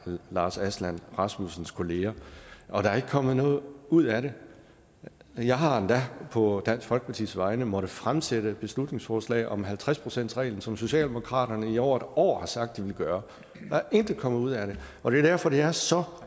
lars aslan rasmussens kolleger og der er ikke kommet noget ud af det jeg har endda på dansk folkepartis vegne måttet fremsætte beslutningsforslag om halvtreds procentsreglen som socialdemokratiet i over et år har sagt at de ville gøre der er intet kommet ud af det og det er derfor det er så